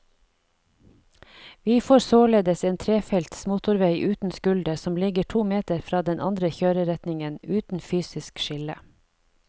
Vi får således en trefelts motorvei uten skulder som ligger to meter fra den andre kjøreretningen, uten fysisk skille.